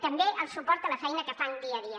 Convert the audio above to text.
també el suport a la feina que fan dia a dia